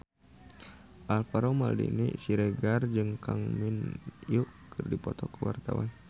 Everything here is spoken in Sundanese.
Alvaro Maldini Siregar jeung Kang Min Hyuk keur dipoto ku wartawan